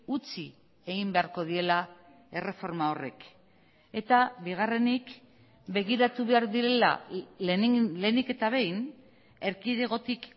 utzi egin beharko diela erreforma horrek eta bigarrenik begiratu behar direla lehenik eta behin erkidegotik